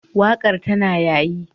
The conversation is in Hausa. Waƙar tana yayi.